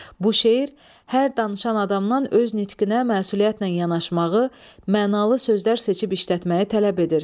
Bu şeir hər danışan adamdan öz nitqinə məsuliyyətlə yanaşmağı, mənalı sözlər seçib işlətməyi tələb edir.